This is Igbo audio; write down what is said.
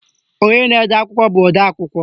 Onye na-ede akwụkwọ bụ odeakwụkwọ